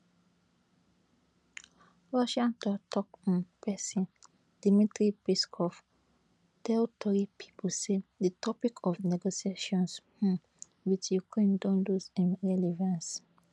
russia toktok um pesin dmitry peskov tell tori pipo say di topic of negotiations um wit ukraine don lose im relevance